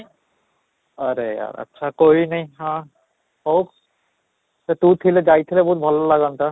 ଆରେ ଆଚ୍ଛା ହଉ ତୁ ଥିଲେ ଯାଇଥିଲେ ବହୁତ ଭଲ ଲାଗନ୍ତା